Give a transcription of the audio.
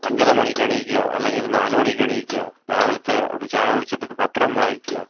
അഞ്ചര മണിക്ക് എണീക്ക, അല്ലെങ്കി ഒരു നാലുമണിക്ക് എണീക്ക, രാവിലെത്തെ ഒരു ചായ കുടിച്ചിട്ട് പത്രം വായിക്ക,